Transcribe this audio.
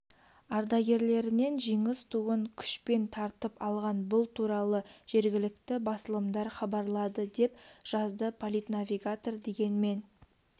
ардагерлерінен жеңіс туын күшпен тартып алған бұл туралы жергілікті басылымдар хабарлады деп жазды политнавигатор дегенмен